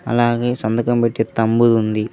అలాగే సంతకం పెట్టి తంబు ఉంది.